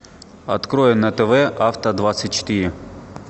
открой на тв авто двадцать четыре